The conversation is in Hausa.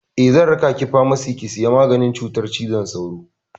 Eh, zan raka ki famasi ki saya maganin cutar cizon sauro.